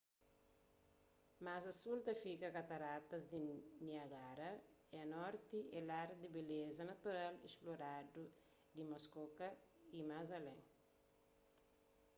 más a sul ta fika kataratas di niágara y a norti é lar di beleza natural inesploradu di muskoka y más alén